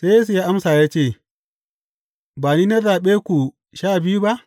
Sai Yesu ya amsa ya ce, Ba ni na zaɓe ku Sha Biyu ba?